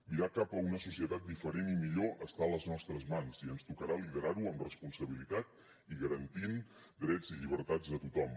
mirar cap a una societat diferent i millor està a les nostres mans i ens tocarà liderar ho amb responsabilitat i garantint drets i llibertats de tothom